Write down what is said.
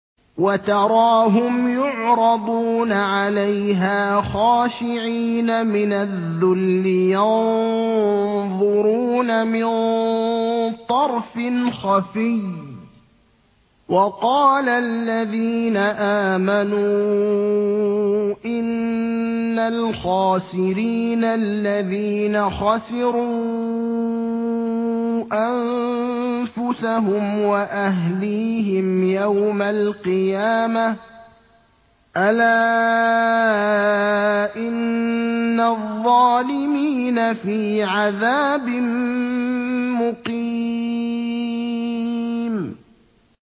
وَتَرَاهُمْ يُعْرَضُونَ عَلَيْهَا خَاشِعِينَ مِنَ الذُّلِّ يَنظُرُونَ مِن طَرْفٍ خَفِيٍّ ۗ وَقَالَ الَّذِينَ آمَنُوا إِنَّ الْخَاسِرِينَ الَّذِينَ خَسِرُوا أَنفُسَهُمْ وَأَهْلِيهِمْ يَوْمَ الْقِيَامَةِ ۗ أَلَا إِنَّ الظَّالِمِينَ فِي عَذَابٍ مُّقِيمٍ